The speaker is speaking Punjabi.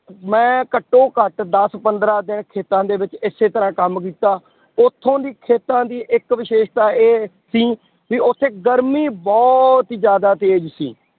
ਮੈਂ ਘੱਟੋ ਘੱਟ ਦਸ ਪੰਦਰਾਂ ਦਿਨ ਖੇਤਾਂ ਦੇ ਵਿੱਚ ਇਸੇ ਤਰ੍ਹਾਂ ਕੰਮ ਕੀਤਾ, ਉੱਥੋਂ ਦੀ ਖੇਤਾਂ ਦੀ ਇੱਕ ਵਿਸ਼ੇਸ਼ਤਾ ਇਹ ਸੀ ਵੀ ਉੱਥੇ ਗਰਮੀ ਬਹੁਤ ਹੀ ਜ਼ਿਆਦਾ ਤੇਜ਼ ਸੀ